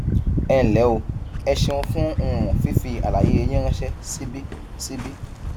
ẹ ǹlẹ o ẹ ṣeun fún um fífi àlàyé yín ránṣẹ síbí síbí